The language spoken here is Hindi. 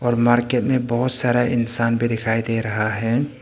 मार्केट मे बहोत सारा इंसान भी दिखाई दे रहा है।